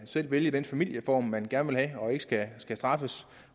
vælge den familieform man gerne vil have og ikke skal straffes